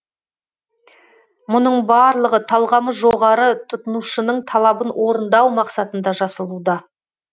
мұның барлығы талғамы жоғары тұтынушының талабын орындау мақсатында жасалуда